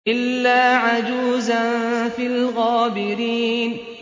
إِلَّا عَجُوزًا فِي الْغَابِرِينَ